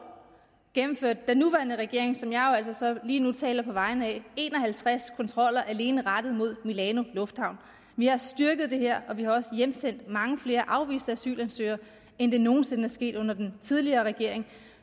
gennemførte den nuværende regering som jeg jo altså så lige nu taler på vegne af en og halvtreds kontroller alene rettet mod milanolufthavnen vi har styrket det her og vi har også hjemsendt mange flere afviste asylansøgere end det nogen sinde er sket under den tidligere regering